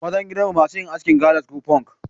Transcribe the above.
Mazan gidan mu masu yin askin galas ko funk.